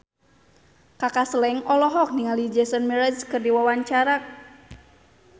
Kaka Slank olohok ningali Jason Mraz keur diwawancara